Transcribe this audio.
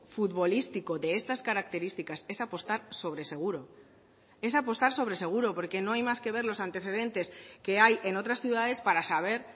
futbolístico de estas características es apostar sobre seguro es apostar sobre seguro porque no hay más que ver los antecedentes que hay en otras ciudades para saber